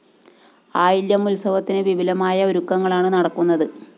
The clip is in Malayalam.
ആയില്യം ഉത്സവത്തിന് വിപുലമായ ഒരുക്കുങ്ങളാണ് നടക്കുന്നത്